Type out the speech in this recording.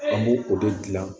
An b'o o de gilan